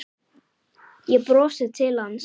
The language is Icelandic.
Ég brosi til hans.